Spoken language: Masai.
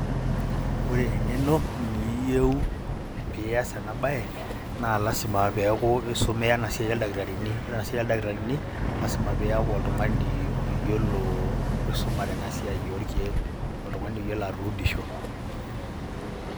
Ore eng'eno niiyeu piiyaas ena baye naa lazima peeku isomea ena siai ooldakitarini. Ore ena siai ooldakitarini lazima piiyaku oltung'ani oyiolo oisumare ena siai oorkeek, oltung'ani oyiolo atuudisho.